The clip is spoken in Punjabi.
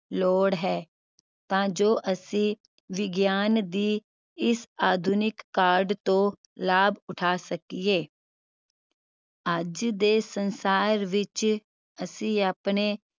ਲੋੜ ਹੈ ਤਾਂ ਜੋ ਅਸੀਂ ਵਿਗਿਆਨ ਦੀ ਇਸ ਆਧੁਨਿਕ ਕਾਢ ਤੋਂ ਲਾਭ ਉਠਾ ਸਕੀਏ। ਅੱਜ ਦੇ ਸੰਸਾਰ ਵਿਚ ਅਸੀਂ ਆਪਣੇ